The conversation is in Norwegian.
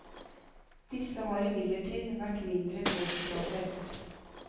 Disse har imidlertid vært mindre gårdsgravfelt.